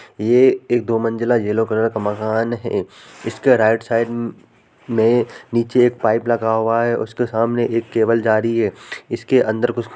ये एक दो मंजिला येलो कलर का मकान है इसके राइट साइड में नीचे पाइप लगा हुआ है उसके सामने एक केबल जा रही है। इसके अंदर कु --